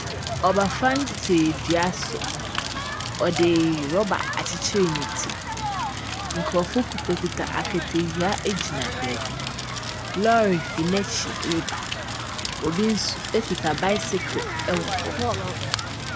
Ɔbafan te dua so, ɔde rɔba akyekyere ne ti, nkorɔfo kuta kuta aketewia egyina baabi. Lɔɔre fri n'akyi reba, obi nso ekuta baesekel ɛwɔ hɔ.